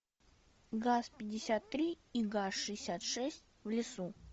газ пятьдесят три и газ шестьдесят шесть в лесу